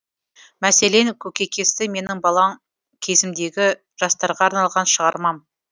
мәселен көкейкесті менің балаң кезімдегі жастарға арналған шығармам